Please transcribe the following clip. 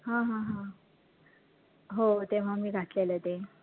हा हा हा हो तेव्हा मी घातलेलं ते